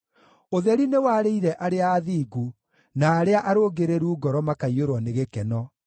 Ũtheri nĩwarĩire arĩa athingu na arĩa arũngĩrĩru ngoro makaiyũrwo nĩ gĩkeno.